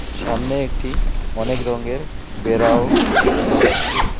সামনে একটি অনেক রঙের বেড়াও দেখা যাচ্ছে।